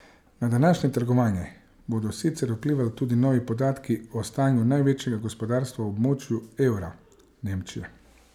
Na današnje trgovanje bodo sicer vplivali tudi novi podatki o stanju največjega gospodarstva v območju evra, Nemčije.